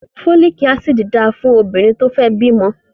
Fólíkì Ásíìdì dáa fún obìnrin tó fẹ́ bímọ